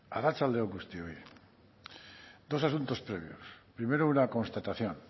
arratsalde on guztioi dos asuntos previos primero una constatación